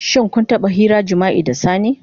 Shin kun taba hirar jima'i da sani?